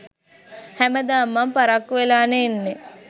හැමදාම මං පරක්කු වෙලානේ එන්නේ